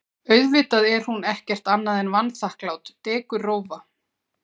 Auðvitað er hún ekkert annað en vanþakklát dekurrófa.